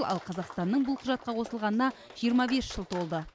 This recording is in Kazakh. ал қазақстанның бұл құжатқа қосылғанына жиырма бес жыл толды